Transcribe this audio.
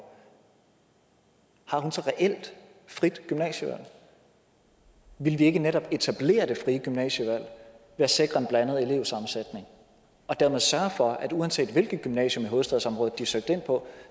har hun så reelt frit gymnasievalg ville vi ikke netop etablere det frie gymnasievalg ved at sikre en blandet elevsammensætning og dermed sørge for at uanset hvilket gymnasium i hovedstadsområdet de søgte ind på